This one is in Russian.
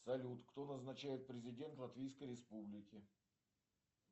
салют кто назначает президента латвийской республики